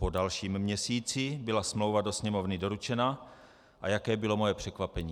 Po dalším měsíci byla smlouva do Sněmovny doručena - a jaké bylo moje překvapení!